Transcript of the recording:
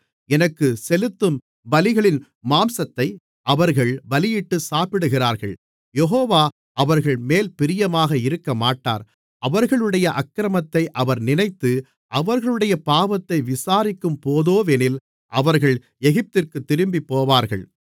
எனக்குச் செலுத்தும் பலிகளின் மாம்சத்தை அவர்கள் பலியிட்டு சாப்பிடுகிறார்கள் யெகோவா அவர்கள்மேல் பிரியமாக இருக்கமாட்டார் அவர்களுடைய அக்கிரமத்தை அவர் நினைத்து அவர்களுடைய பாவத்தை விசாரிக்கும்போதோவெனில் அவர்கள் எகிப்திற்குத் திரும்பிப்போவார்கள்